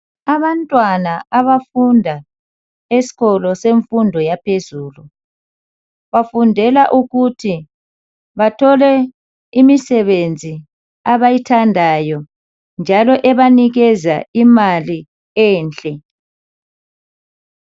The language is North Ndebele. Abantwana abafunda esikolo semfundo yaphezulu, bafundela ukuthi bathole imisebenzi abayithandayo. Njalo ebanikeza imali enhle.